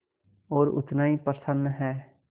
और उतना ही प्रसन्न है